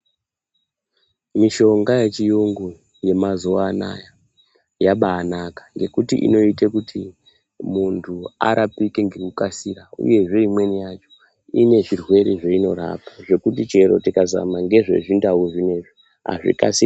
Mishonga yechiyungu yemazuwa anaa yabainaka ngekuti inoita kuti munthu arapike ngekukasira uyezve imweni yacho ine zvirwere zveinorapa zvekuti chero tikazama ngezvezvindau zvinezvi azvikasiri..